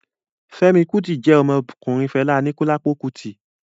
Fẹ́mi Kútì jẹ́ ọmọ ọkùnrin Fẹlá Aníkúlápó Kútì